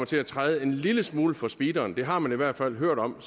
til at træde en lille smule for speederen det har man i hvert fald hørt om